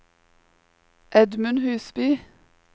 Edmund Husby